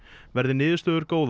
verði niðurstöður góðar